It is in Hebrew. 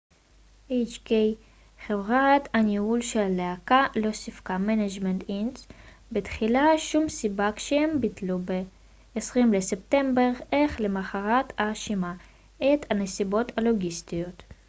חברת הניהול של הלהקה hk management inc לא סיפקה בתחילה שום סיבה כשהם ביטלו ב-20 בספטמבר אך למחרת האשימה את הנסיבות הלוגיסטיות